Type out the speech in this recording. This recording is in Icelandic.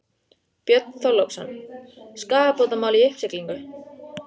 Björn Þorláksson: Skaðabótamál í uppsiglingu?